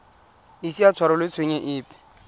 ise a tshwarelwe tshenyo epe